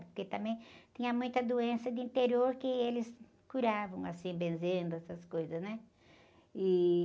Porque também tinha muita doença de interior que eles curavam, assim, benzendo, essas coisas, né? E...